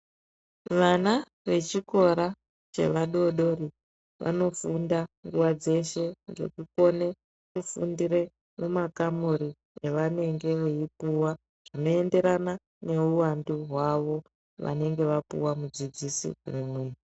Vana vechikora cheva dodori vanofunda nguwa dzeshe ngekukone kufundire mumakamuri avanenge veipuwa zvinoenderana neuwandu hwavo vanenge vapuwa mudzidzisi umwe.